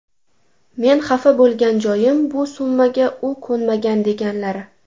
Men xafa bo‘lgan joyim bu summaga u ko‘nmagan deganlari.